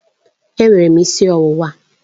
Enwere m isi ọwụwa